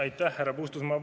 Aitäh, härra Puustusmaa!